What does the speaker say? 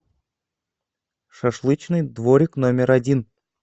шашлычный дворик номер один